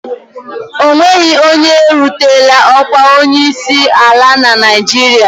O nweghị onye erutela ọkwa onyeisi ala na Naịjirịa.